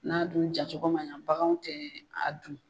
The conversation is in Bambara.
N'a dun ja cogo ma yan, baganw tɛ a dun